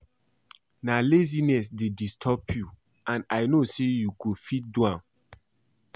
Na laziness dey disturb you and I know say you go fit do am